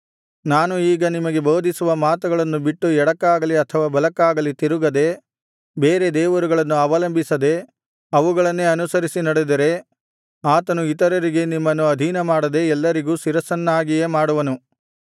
ನಾನು ಈಗ ನಿಮಗೆ ಬೋಧಿಸುವ ಮಾತುಗಳನ್ನು ಬಿಟ್ಟು ಎಡಕ್ಕಾಗಲಿ ಅಥವಾ ಬಲಕ್ಕಾಗಲಿ ತಿರುಗದೆ ಬೇರೆ ದೇವರುಗಳನ್ನು ಅವಲಂಬಿಸದೆ ಅವುಗಳನ್ನೇ ಅನುಸರಿಸಿ ನಡೆದರೆ ಆತನು ಇತರರಿಗೆ ನಿಮ್ಮನ್ನು ಅಧೀನಮಾಡದೆ ಎಲ್ಲರಿಗೂ ಶಿರಸ್ಸನ್ನಾಗಿಯೇ ಮಾಡುವನು